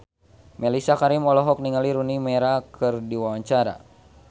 Mellisa Karim olohok ningali Rooney Mara keur diwawancara